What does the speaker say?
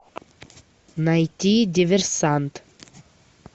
найти диверсант